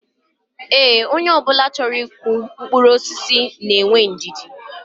Ee, onye obula choro iku mkpuru osisi na enwe ndidi